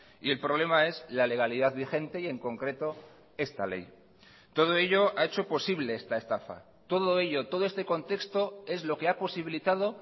y el problema es la legalidad vigente y en concreto esta ley todo ello ha hecho posible esta estafa todo ello todo este contexto es lo que ha posibilitado